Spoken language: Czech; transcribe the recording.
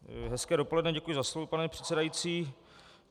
Hezké dopoledne, děkuji za slovo, pane předsedající.